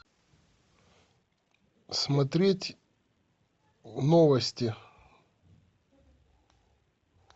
смотреть новости